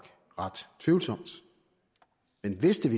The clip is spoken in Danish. ret tvivlsomt men hvis det